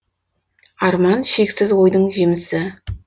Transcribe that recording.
арман шексіз ойдың жемісі